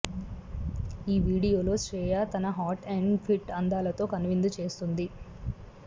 ఈ వీడియోలో శ్రీయా తన హాట్ అండ్ ఫిట్ అందాలతో కనువిందు చేస్తోంది